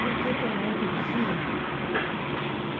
Por que tão alta luzia?